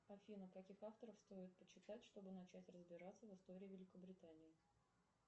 афина каких авторов стоит почитать чтобы начать разбираться в истории великобритании